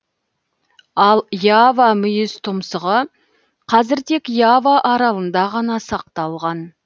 ал ява мүйізтұмсығы қазір тек ява аралында ғана сақталған